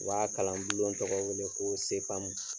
O b'a kalan bulon tɔgɔ wele ko CFAM